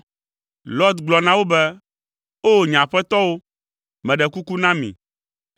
Lot gblɔ na wo be, “O, nye Aƒetɔwo, meɖe kuku na mi.